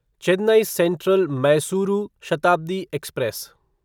Chennai central Mysuru Shatabdi express